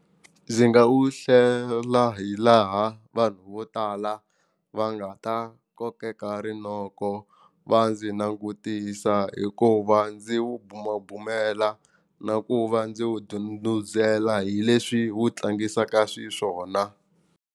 Ndzi nga u hlela hi laha vanhu vo tala va nga ta kokeka rinoko va ndzi langutisa hikuva ndzi wu bumabumela na ku va ndzi wu ndhundhuzela hi leswi wu tlangisaka swiswona.